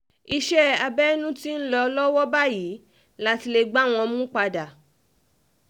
iṣẹ́ abẹ́nú ti ń lọ um lọ́wọ́ báyìí láti lè gbá wọn mú padà um